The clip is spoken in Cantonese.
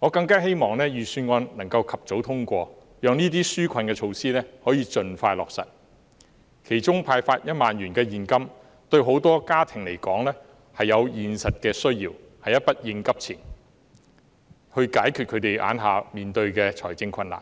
我更希望預算案能夠及早通過，讓這些紓困措施可以盡快落實，其中派發1萬元現金對很多家庭來說有現實的需要，是一筆應急錢，以解決他們當前面對的財政困難。